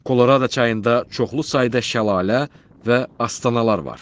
Kolorado çayında çoxlu sayda şəlalə və astanalar var.